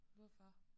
Hvorfor?